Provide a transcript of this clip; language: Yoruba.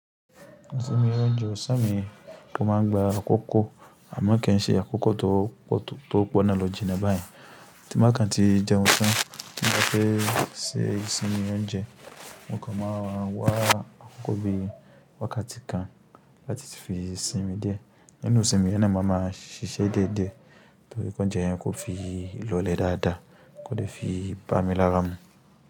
Ìsinmi oúnjẹ ọ̀sán mi kò má ń gba àkókò, àmọ́ kí n ṣe àkókò tó pọ̀ tó lọ jìnà bahun. Tí n bá kan ti jẹun tán, tí n bá fẹ́ ṣe ìsinmi oúnjẹ, mo kan máa wá àkókò bíi wákàtí kan láti fi sinmi dẹ̀. Nínú ìsinmi yẹn náà, ma máa ṣiṣẹ́ díẹ̀díẹ̀ torí kí oúnjẹ yẹn kó fi lole dáadáa, kò dẹ̀ fi bá mi lára mu.